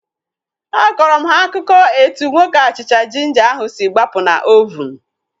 Akọrọ m ha akụkọ etu nwoke achịcha jinja ahu si gbapụ na ovunu